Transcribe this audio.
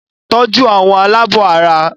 Tọ́jú àwọn alábọ̀ara!